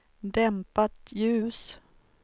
dämpat ljus